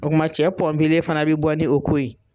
O kuma cɛ fana be bɔ ni o ko ye .